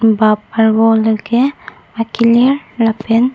bap arvo la ke akilir lapen--